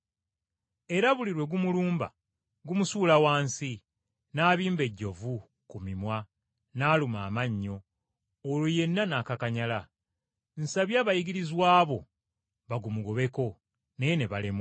Era buli lwe gumulumba gumusuula wansi, n’abimba ejjovu ku mimwa n’aluma amannyo, olwo yenna n’akakanyala. Nsabye abayigirizwa bo bagumugobeko, naye ne balemwa.”